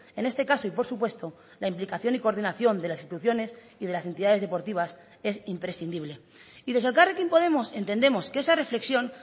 en este caso y por supuesto la implicación y coordinación de las instituciones y de las entidades deportivas es imprescindible y desde elkarrekin podemos entendemos que esa reflexión